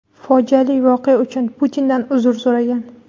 fojiali voqea uchun Putindan uzr so‘ragan.